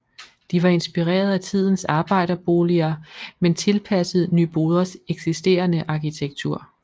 De var inspireret af tidens arbejderboliger men tilpasset Nyboders eksisterende arkitektur